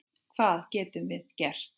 Hvað getum við gert?